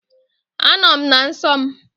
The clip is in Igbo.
Anọ m na nsọ m